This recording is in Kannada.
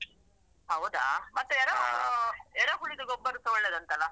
ಹೌದಾ, ಮತ್ತೆ ಎರ~ ಎರೆಹುಳದ್ದು ಗೊಬ್ಬರಸ ಒಳ್ಳೇದಂತಲ್ಲ.